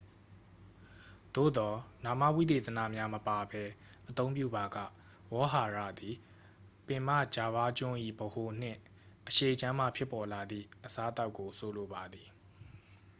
သို့သော် နာမဝိသေသနများ မပါဘဲ အသုံးပြုပါက ဝေါဟာရသည် ပင်မဂျာဗားကျွန်း၏ ဗဟိုနှင့် အရှေ့ခြမ်းမှ ဖြစ်ပေါ်လာသည့် အစားအသောက်ကို ဆိုလိုပါသည်